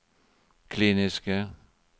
kliniske